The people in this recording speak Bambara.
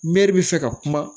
Mɛri bɛ fɛ ka kuma